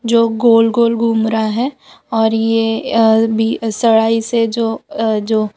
जो गोल गोल घूम रहा हैं और ये अल बी अ सळाई से जो अ जो--